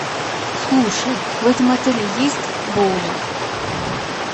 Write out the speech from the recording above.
слушай в этом отеле есть боулинг